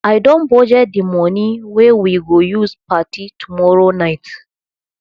i don budget the money wey we go use party tomorrow night